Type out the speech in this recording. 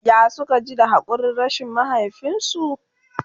ya Suka ji da hakurin rashin mahaifinsu?